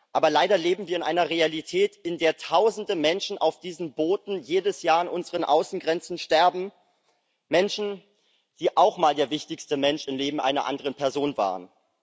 Aber leider leben wir in einer Realität, in der jedes Jahr tausende Menschen auf diesen Booten an unseren Außengrenzen sterben, Menschen, die auch einmal der wichtigste Mensch im Leben einer anderen Person waren.